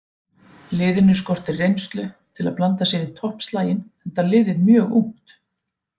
Liðinu skortir reynslu til að blanda sér í toppslaginn enda liðið mjög ungt.